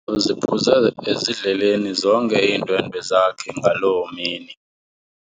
Uziphuze ezidleleni zonke iindwendwe zakhe ngaloo mini.